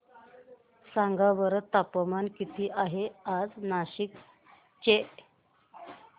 सांगा बरं तापमान किती आहे आज नाशिक चे